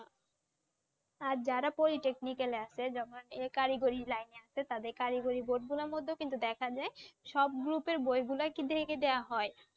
আর যারা polytechnic এ আছে যেমন এ কারিগরি লাইনে আছে তাদেরকে কারিগরি job গুলোর মধ্যেও কিন্তু দেখা যায় সব Group এর বইগুলাই কিন্তু একে দেয়া হয়